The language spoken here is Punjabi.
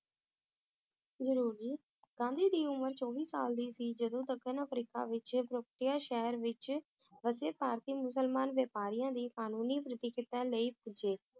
ਜ਼ਰੂਰ ਜੀ, ਗਾਂਧੀ ਦੀ ਉਮਰ ਚੌਵੀ ਸਾਲ ਦੀ ਸੀ ਜਦੋ ਦੱਖਣ ਅਫ੍ਰੀਕਾ ਵਿਚ ਸ਼ਹਿਰ ਵਿਚ ਵਸੇ ਭਾਰਤੀ ਮੁਸਲਮਾਨ ਵਾਪਾਰੀਆਂ ਦੀ ਕਾਨੂੰਨੀ ਲਈ ਪਹੁੰਚੇ